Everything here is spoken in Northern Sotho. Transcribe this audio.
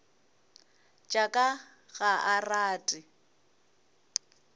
tša ka ga a rate